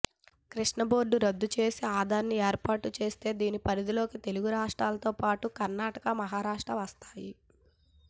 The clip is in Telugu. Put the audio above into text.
కృష్ణా బోర్డు రద్దు చేసి అథారిటీ ఏర్పాటు చేస్తే దీని పరిధిలోకి తెలుగు రాష్ట్రాలతో పాటు కర్ణాటక మహారాష్ట్ర వస్తాయి